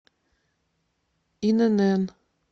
инн